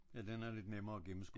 Ja den er lidt nemmere at gennemskue så